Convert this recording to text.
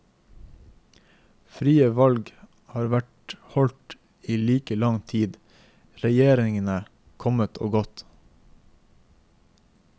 Frie valg har vært holdt i like lang tid, regjeringene kommet og gått.